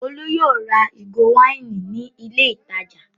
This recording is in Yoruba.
Olú yóò ra ìgò wáìnì ní ilé-ìtajà!